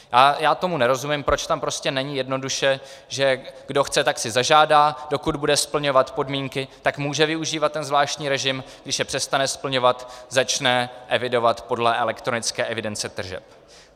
A já tomu nerozumím, proč tam prostě není jednoduše, že kdo chce, tak si zažádá, dokud bude splňovat podmínky, tak může využívat ten zvláštní režim, když je přestane splňovat, začne evidovat podle elektronické evidence tržeb.